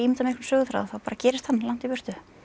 einhvern söguþráð þá bara gerist hann langt í burtu